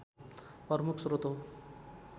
प्रमुख स्रोत हो